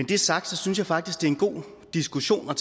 det er sagt synes jeg faktisk det er en god diskussion at